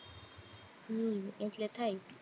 હમ એટલે થાય